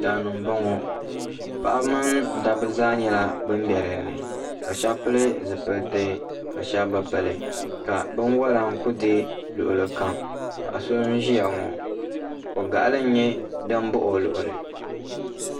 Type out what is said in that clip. Daani nbɔŋɔ paɣaba min dabba zaa nyɛla bani bɛ dini ka shɛba pili zipiliti ka shɛba bi pili ka bini wola nkuli dɛɛ luɣili kam paɣa so n ziya ŋɔ ko gaɣili nyɛ dini baɣi o luɣili.